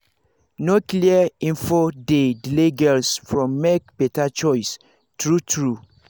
no clear info dey delay girls from make better choice true true